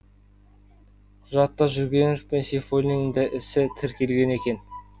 құжатта жүргенов пен сейфуллинді де ісі тіркелген екен